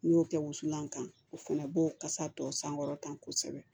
N'i y'o kɛ wusulan kan o fɛnɛ b'o kasa tɔ sankɔrɔta kosɛbɛ